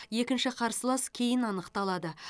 екінші қарсылас кейін анықталады